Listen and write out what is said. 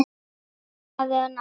Elsku afi og nafni.